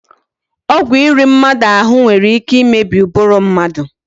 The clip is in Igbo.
Ọgwụ iri mmadụ ahụ nwere ike imebi ụbụrụ mmadụ